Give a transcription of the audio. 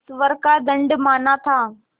ईश्वर का दंड माना था